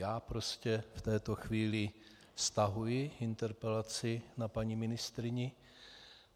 Já prostě v této chvíli stahuji interpelaci na paní ministryni.